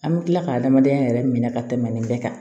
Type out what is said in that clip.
An bɛ tila ka adamadenya yɛrɛ minɛ ka tɛmɛ nin bɛɛ kan